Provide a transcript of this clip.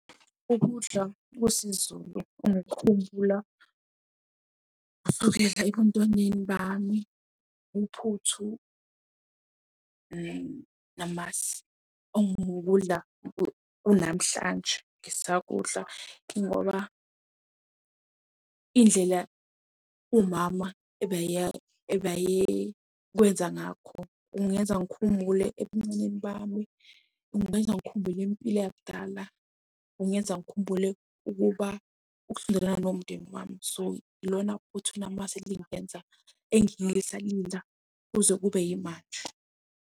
Ukudla kwesiZulu ngikukhumbula kusukela ebuntwaneni bami. Uphuthu namasi okungukudla kunamhlanje ngisakudla njengoba indlela umama ebeye kwenza ngakho kungenza ngikhumbule ebuncaneni bami. Kungenza ngikhumbule impilo yakudala. Kungenza ngikhumbule ukuba ukusondelana nomndeni wami. So, lona uphuthu namasi lingenza kuze kube yimanje.